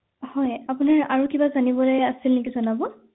হয় আপনাৰ আৰু কিবা জানিবলৈ আছিল নেকি জনাব